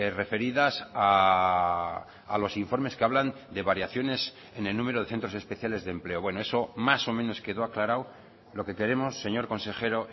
referidas a los informes que hablan de variaciones en el número de centros especiales de empleo bueno eso más o menos quedó aclarado lo que queremos señor consejero